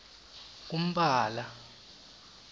kumphala